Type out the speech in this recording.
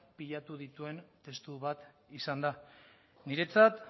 bilatu dituen testu bat izan da niretzat